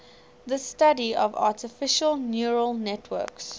the study of artificial neural networks